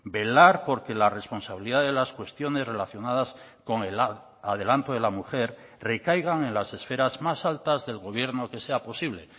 velar por que la responsabilidad de las cuestiones relacionadas con el adelanto de la mujer recaigan en las esferas más altas del gobierno que sea posible